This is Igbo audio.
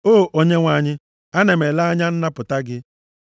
“O Onyenwe anyị, ana m ele anya nnapụta gị.